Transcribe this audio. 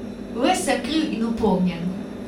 Ves sem kriv in upognjen.